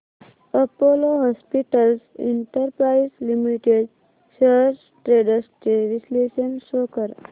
Apollo hospitals enterprise limited shares trends चे विश्लेषण show कर